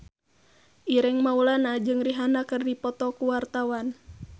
Ireng Maulana jeung Rihanna keur dipoto ku wartawan